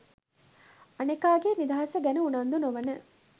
අනෙකාගේ නිදහස ගැන උනන්දු නොවන